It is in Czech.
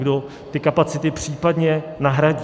Kdo ty kapacity případně nahradí?